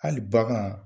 Hali bagan